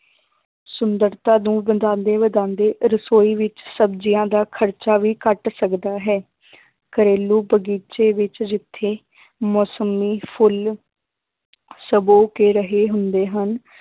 ਸੁੰਦਰਤਾ ਨੂੰ ਵਧਾਉਂਦੇ ਵਧਾਉਂਦੇ ਰਸੋਈ ਵਿੱਚ ਸਬਜ਼ੀਆਂ ਦਾ ਖ਼ਰਚਾ ਵੀ ਘੱਟ ਸਕਦਾ ਹੈ ਘਰੇਲੂ ਬਗ਼ੀਚੇ ਵਿੱਚ ਜਿੱਥੇ ਮੋਸੱਮੀ, ਫੁੱਲ ਸੁਬੋ ਕੇ ਰਹੇ ਹੁੰਦੇ ਹਨ